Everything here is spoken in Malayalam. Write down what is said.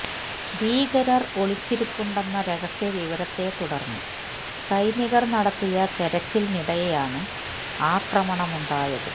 ഭീകരര് ഒളിച്ചിരിപ്പുണ്ടെന്ന രഹസ്യ വിവരത്തെ തുടര്ന്ന് സൈനികര് നടത്തിയ തെരച്ചിലിനിടെയാണ് ആക്രമണമുണ്ടായത്